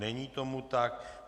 Není tomu tak.